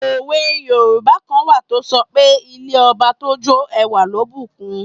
Òwe yoòbá kan wà tó sọ pé 'ilé ọba tó jó ẹwà ló bù kun'